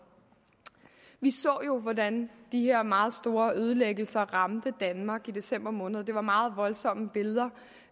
vi så jo hvordan de her meget store ødelæggelser ramte danmark i december måned der var meget voldsomme billeder